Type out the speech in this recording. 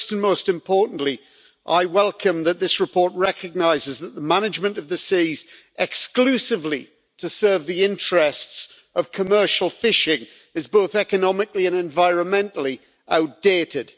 First and most importantly, I welcome that this report recognises that the management of the seas exclusively to serve the interests of commercial fishing is both economically and environmentally outdated.